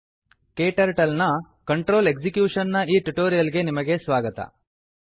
KTurtle ನ control execution ನ ಈ ಟ್ಯುಟೋರಿಯಲ್ ಗೆ ನಿಮಗೆ ಸ್ವಾಗತ